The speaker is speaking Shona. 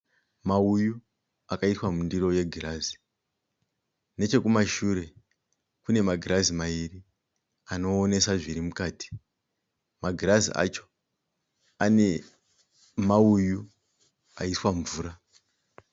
Mauyu akaiswa mundiro yegirazi, nechekumashure kunemagirazi maviri anoonesa zvirikumashure.